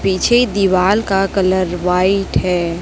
पीछे दीवाल का कलर व्हाइट है।